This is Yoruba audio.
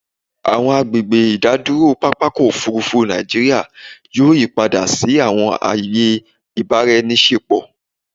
Awọn agbegbe idaduro papa ọkọ ofurufu Naijiria yoo yipada si awọn aaye ibaraenisepo